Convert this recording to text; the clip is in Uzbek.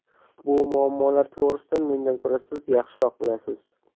Bu muammolar to‘g‘risida mendan ko‘ra siz yaxshiroq bilasiz.